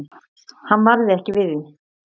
Hann varð ekki við því.